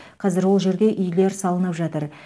қазір ол жерде үйлер салынып жатыр